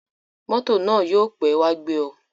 Mọ́tò náà yóò pẹ́ wá gbé ọ.